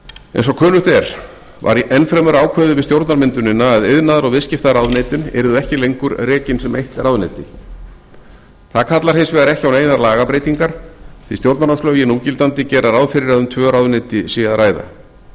eins og kunnugt er var enn fremur ákveðið við stjórnarmyndunina að iðnaðar og viðskiptaráðuneytin yrðu ekki lengur rekin sem eitt ráðuneyti það kallar hins vegar ekki á neinar lagabreytingar því stjórnarráðslögin núgildandi gera ráð fyrir að um tvö ráðuneyti sé að ræða